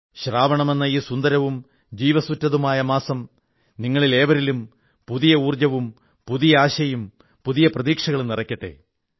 ശ്രാവണമെന്ന ഈ സുന്ദരവും ജീവസ്സുറ്റതുമായ മാസം നിങ്ങളിലേവരിലും പുതിയ ഊർജ്ജവും പുതിയ ആശയും പുതിയ പ്രതീക്ഷകളും നിറയ്ക്കട്ടെ